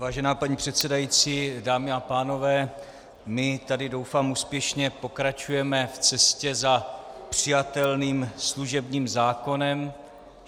Vážená paní předsedající, dámy a pánové, my tady, doufám, úspěšně pokračujeme v cestě za přijatelným služebním zákonem.